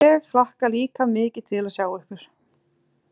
Ég hlakka líka mikið til að sjá ykkur